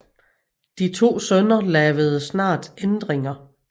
De to sønner lavede snart ændringer